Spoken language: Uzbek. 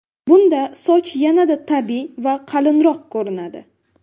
Bunda soch yanada tabiiy va qalinroq ko‘rinadi.